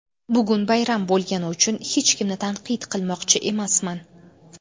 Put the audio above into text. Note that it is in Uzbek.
Bugun bayram bo‘lgani uchun hech kimni tanqid qilmoqchi emasman.